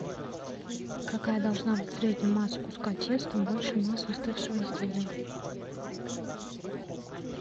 какая должна быть в среднем масса куска теста больше массы остывшего изделия